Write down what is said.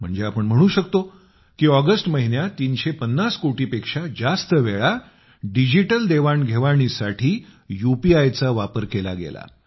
म्हणजे आपण म्हणू शकतो की ऑगस्ट महिन्यात तीनशे पन्नास कोटी पेक्षा जास्त वेळा डिजिटल देवाण घेवाणीसाठी यूपीआयचा वापर केला गेला